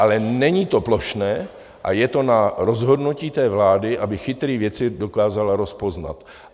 Ale není to plošné a je to na rozhodnutí té vlády, aby chytré věci dokázala rozpoznat.